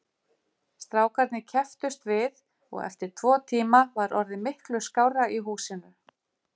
Strákarnir kepptust við og eftir tvo tíma var orðið miklu skárra í húsinu.